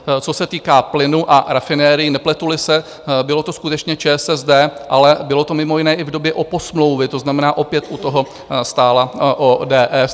Co se týká plynu a rafinerií, nepletu-li se, byla to skutečně ČSSD, ale bylo to mimo jiné i v době oposmlouvy, to znamená, opět u toho stála ODS.